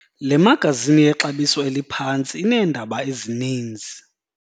Le magazini yexabiso eliphantsi ineendaba ezininzi.